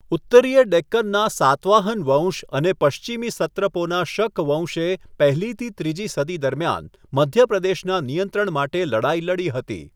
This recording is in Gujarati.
ઉત્તરીય ડેક્કનના સાતવાહન વંશ અને પશ્ચિમી સત્રપોના શક વંશે પહેલીથી ત્રીજી સદી દરમિયાન મધ્યપ્રદેશના નિયંત્રણ માટે લડાઈ લડી હતી.